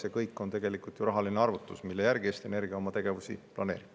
See kõik on tegelikult rahaline arvutus, mille järgi Eesti Energia oma tegevusi planeerib.